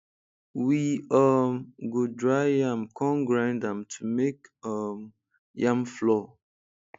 we um go dry yam come grind am to make um yam flour